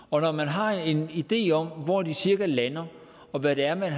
og når man har en idé om hvor de cirka lander og hvad det er man